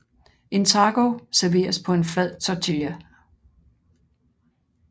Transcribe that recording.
En taco serveres på en flad tortilla